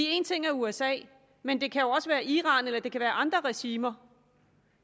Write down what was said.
en ting er usa men det kan jo også være iran eller andre regimer